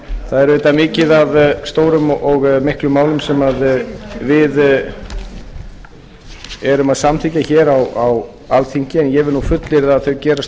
það er auðvitað mikið af stórum og miklum málum sem við erum að samþykkja hér á alþingi en ég vil nú fullyrða að þau gerast